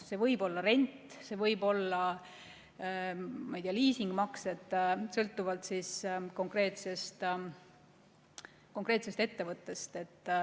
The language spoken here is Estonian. See võib olla rent, see võib-olla liisingumakse, sõltuvalt konkreetsest ettevõttest.